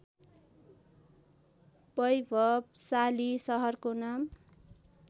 वैभवसाली सहरको नाम